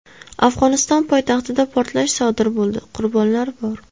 Afg‘oniston poytaxtida portlash sodir bo‘ldi, qurbonlar bor.